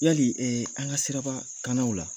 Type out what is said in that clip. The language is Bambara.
Yali an ŋa sirabaa kannaw la